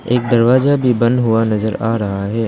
एक दरवाजा भी बंद हुआ नजर आ रहा है।